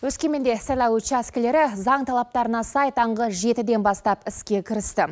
өскеменде сайлау учаскілері заң талаптарына сай таңғы жетіден бастап іске кірісті